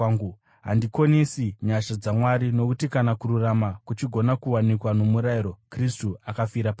Handikonesi nyasha dzaMwari, nokuti kana kururama kuchigona kuwanikwa nomurayiro, Kristu akafira pasina!”